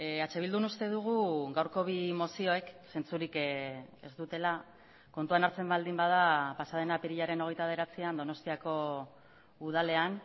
eh bildun uste dugu gaurko bi mozioek zentzurik ez dutela kontuan hartzen baldin bada pasaden apirilaren hogeita bederatzian donostiako udalean